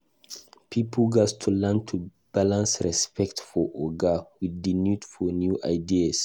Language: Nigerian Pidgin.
Pipo gatz learn to balance respect for oga with di need for new ideas.